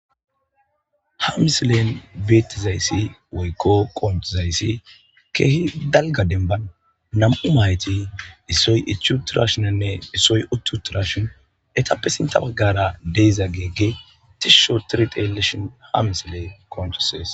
Ha misilen beettizayssi woykko qoontizayssi keehi dalga denban nam7u mayti issoy ichuuturashinanne issoy uttuutrashin etappe sinta baggara deiza geegge tishsho tiriteleshon ha misile koontosees.